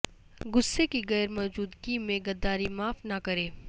غصے کی غیر موجودگی میں غداری معاف نہ کریں